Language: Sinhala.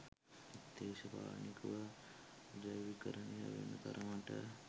දේශපාලනිකව ධ්‍රැවීකරණය වෙන තරමට